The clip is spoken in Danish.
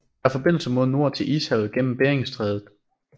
Der er forbindelse mod nord til Ishavet gennem Beringstrædet